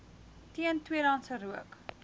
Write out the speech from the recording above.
teen tweedehandse rook